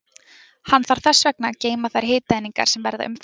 Hann þarf þess vegna að geyma þær hitaeiningar sem verða umfram.